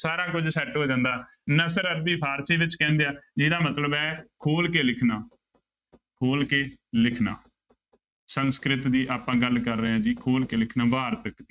ਸਾਰਾ ਕੁੱਝ set ਹੋ ਜਾਂਦਾ ਨਸਰ ਅੱਧੀ ਫ਼ਾਰਸੀ ਵਿੱਚ ਕਹਿੰਦੇ ਆ ਜਿਹਦਾ ਮਤਲਬ ਹੈ ਖੋਲ ਕੇ ਲਿਖਣਾ ਖੋਲ ਕੇ ਲਿਖਣਾ ਸੰਸਕ੍ਰਿਤ ਦੀ ਆਪਾਂ ਗੱਲ ਕਰ ਰਹੇ ਹਾਂ ਜੀ ਖੋਲ ਕੇ ਲਿਖਣਾ ਵਾਰਤਕ